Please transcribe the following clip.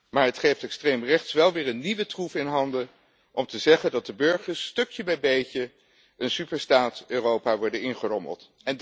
Maar het geeft extreemrechts wel weer een nieuwe troef in handen om te zeggen dat de burgers stukje bij beetje een superstaat Europa worden ingerommeld.